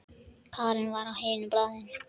Karen var á hinu baðinu.